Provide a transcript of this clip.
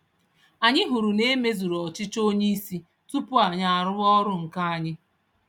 Anyị hụrụ na emezuru ọchịchọ onyeisi tupu anyị arụwa ọrụ nke anyị